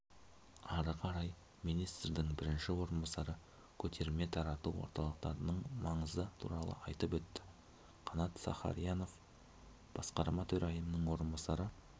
ары қарай министрдің бірінші орынбасары көтерме-тарату орталықтарының маңызы туралы айтып өтті қанат сахариянов басқарма төрайымының орынбасары